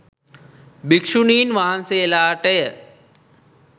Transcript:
භීක්ෂුණීන් වහන්සේලාටය.